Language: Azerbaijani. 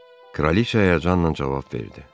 Kraliça həyəcanla cavab verdi: